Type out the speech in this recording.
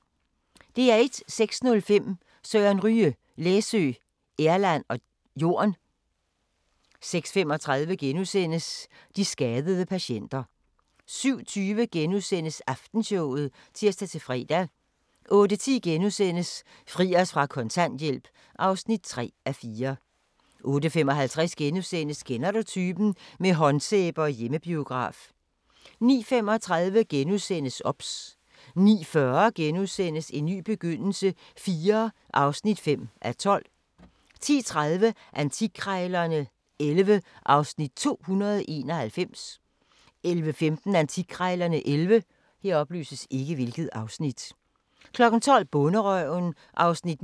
06:05: Søren Ryge: Læsø, Erland og Jorn 06:35: De skadede patienter * 07:20: Aftenshowet *(tir-fre) 08:10: Fri os fra kontanthjælp (3:4)* 08:55: Kender du typen? – med håndsæbe og hjemmebiograf * 09:35: OBS * 09:40: En ny begyndelse IV (5:12)* 10:30: Antikkrejlerne XI (Afs. 291) 11:15: Antikkrejlerne XI 12:00: Bonderøven (9:11)